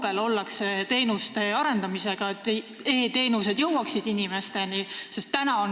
Kui kaugel ollakse teenuste arendamisega, sellega, et e-teenused jõuaksid inimesteni?